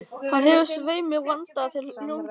Hann hefur svei mér vandað til lungans.